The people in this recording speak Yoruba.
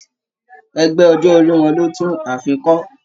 Ẹgbẹ ọjọ orí wọn lò tún ààfin kọ.